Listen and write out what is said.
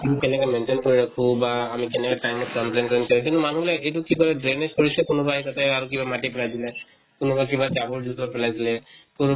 উম কেনেকা maintain কৰে আকৌ বা আমি কেনেকে time ত complaint কৰিম কিন্তু মানুহ বিলাকে এইটো কিবা drainage কৰিছে, কোনোবাই তাতে আৰু কিবা মাটি পেলাই দিলে। তেনেকুৱা কিবা জাবৰ জোথৰ পেলাই দিলে। তʼ